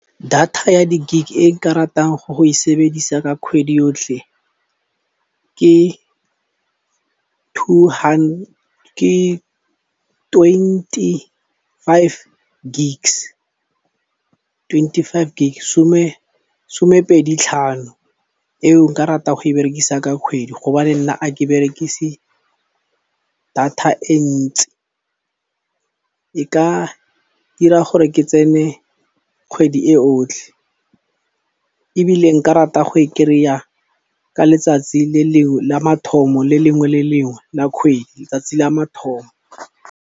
Data ya di gig e nka ratang go go e sebedisa ka kgwedi yotlhe ke twenty-five gigs, twenty-five gig somepedi tlhano eo nka ratang go e berekisa ka kgwedi hobane nna a ke berekise data e ntsi e ka dira gore ke tsene kgwedi e otlhe ebile nka rata go e kry-a ka letsatsi le lengwe la mathomo le lengwe le lengwe la kgwedi tsatsi la mathomo.